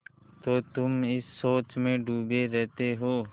तो तुम इस सोच में डूबे रहते हो